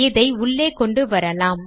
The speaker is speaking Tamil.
இதை உள்ளே கொண்டு வரலாம்